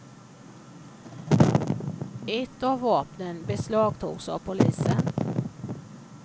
Ett av vapnen beslagtogs av polisen.